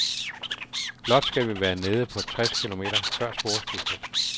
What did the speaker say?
Blot skal vi være nede på tres kilometer før sporskiftet.